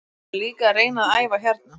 Við ætlum líka að reyna að æfa hérna.